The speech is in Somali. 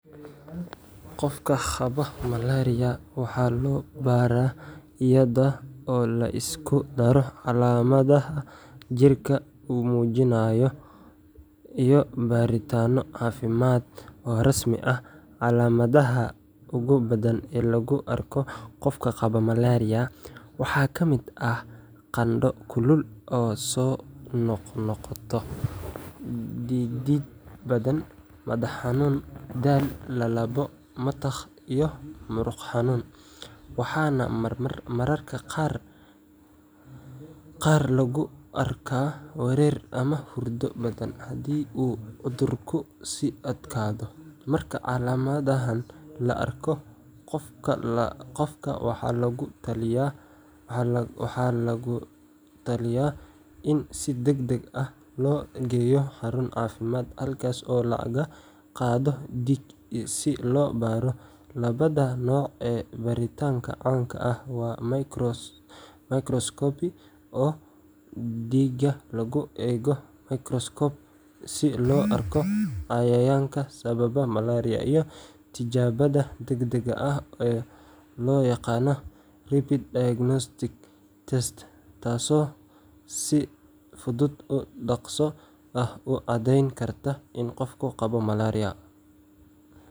School portals-ka baraha iskuulka ee internetka ku jira waxay si weyn u fududeeyaan xiriirka u dhexeeya macallimiinta, ardayda, iyo waalidiinta iyagoo isku xira dhammaan dhinacyada waxbarashada si hufan oo degdeg ah. Marka hore, macallimiintu waxay si toos ah ugu gudbin karaan ardayda jadwalka casharrada, casharro la duubay, imtixaano, iyo hawlo guriga assignments iyagoo adeegsanaya portal-ka. Ardayduna waxay hal meel ka helayaan wax kasta oo la xiriira waxbarashadooda, waxayna soo gudbin karaan shaqooyinka la siiyay si fudud. Dhanka kale, waalidiintu waxay heli karaan warbixino joogto ah oo la xiriira horumarka ardayga sida darajooyinka, imaanshaha attendance, anshaxa, iyo fariimaha ka imanaya macallimiinta ama maamulka iskuulka. Waxay sidoo kale si toos ah ula xiriiri karaan macallimiinta ama maamulka iskuulka haddii ay jiraan wax su’aalo ama cabashooyin ah. Ugu dambeyn, portals-ka noocan ah waxay abuuraan isgaarsiin toos ah oo hufan, waxayna xoojiyaan wadashaqeynta waalidiinta, macallimiinta, iyo ardayda si loo gaaro guulo waxbarasho oo.